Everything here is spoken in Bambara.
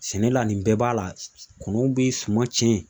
Sɛnɛ la nin bɛɛ b'a la, kɔnɔw bɛ suman cɛn